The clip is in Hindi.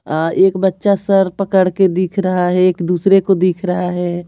अ एक बच्चा सर पकड़ के दिख रहा है एक दूसरे को दिख रहा है।